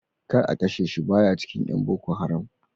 Kar a kashe shi, baya cikin ƴan boko haram.